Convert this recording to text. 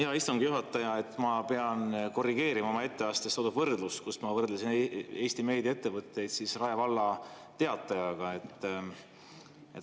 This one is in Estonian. Hea istungi juhataja, ma pean korrigeerima oma etteastes toodud võrdlust, kus ma võrdlesin Eesti meediaettevõtteid Rae Valla Teatajaga.